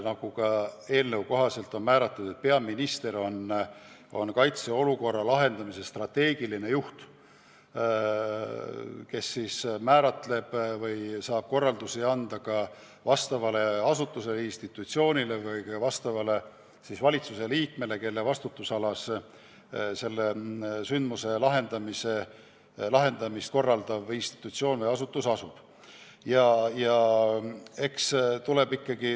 Jah, eelnõu kohaselt on peaminister kaitseolukorra lahendamise strateegiline juht, kes saab korraldusi anda mõnele asutusele ja institutsioonile ja ka valitsuse liikmele, kelle vastutusalas sündmuse lahendamist korraldav institutsioon või asutus asub.